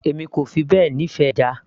èmi kò fi bẹ́ẹ̀ nífẹ̀ẹ́ ẹja